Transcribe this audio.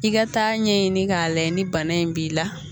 I ga taa ɲɛɲini k'a layɛ ni bana in b'i la